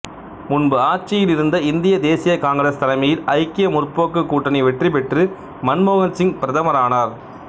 முன்பு ஆட்சியில் இருந்த இந்திய தேசிய காங்கிரசு தலைமையில் ஐக்கிய முற்போக்குக் கூட்டணி வெற்றி பெற்று மன்மோகன் சிங் பிரதமரானார்